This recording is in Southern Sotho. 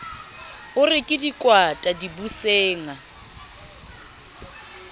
o re ke dikwata dibusenga